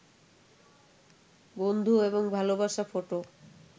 বন্ধু এবং ভালোবাসা ফটো